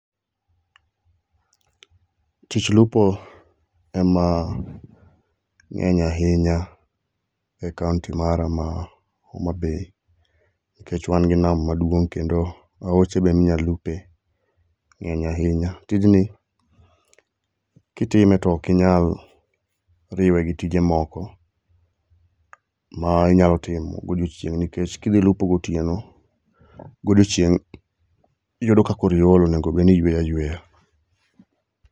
Tich lupo ema ng'eny ahinya e kaonti mara ma Homabay nkech wan gi nam maduong' kendo aoche be minyalupe ng'eny ahinya. Tijni kitime tokinyal riwe gi tije moko ma inyalo timo godiochieng' nikech kidhi lupo gotieno, godiechieng' iyudo ka koro iol onego bed ni iyweyo ayweya.